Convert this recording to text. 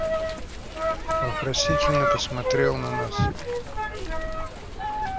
вопросительно посмотрел на нас